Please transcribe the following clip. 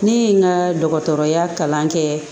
Ne ye n ka dɔgɔtɔrɔya kalan kɛ